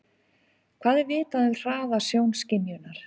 Hvað er vitað um hraða sjónskynjunar?